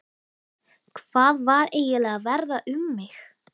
Hvað var eiginlega að verða um mig?